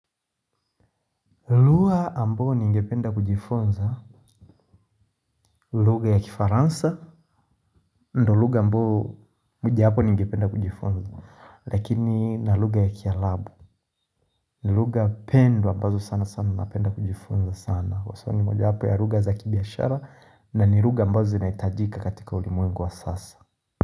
Lugha ambao ningependa kujifunza, lugha ya kifaransa, ndo lugha ambao mojowapo ningependa kujifunza, lakini na lugha ya kialabu, lugha pendwa ambazo sana sana napenda kujifunza sana, kwa sababu ni moja wapo ya lugha za kibiashara na ni lugha ambazo zinaitajika katika ulimwengu wa sasa.